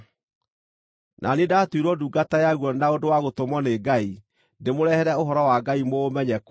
Na niĩ ndaatuirwo ndungata yaguo na ũndũ wa gũtũmwo nĩ Ngai ndĩmũrehere ũhoro wa Ngai mũũmenye kũna,